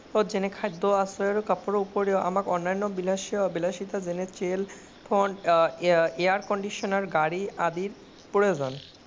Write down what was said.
খাদ্য, আশ্ৰয় আৰু কাপোৰ উপৰিও আমাৰ অনান্য বিলাসীতা তেনে phone, air conditioner গাড়ী আদি প্ৰয়োজন।